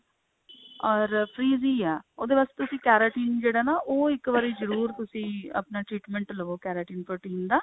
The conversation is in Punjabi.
or freeze ਏ ਉਹਦੇ ਵਾਸਤੇ ਤੁਸੀਂ keratin ਜਿਹੜਾ ਹੈਂ ਨਾ ਉਹ ਇੱਕ ਵਾਰੀ ਜਰੂਰ ਤੁਸੀਂ ਆਪਣਾ treatment ਲਵੋ keratin protein ਦਾ